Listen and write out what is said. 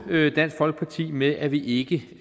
dansk folkeparti med at vi ikke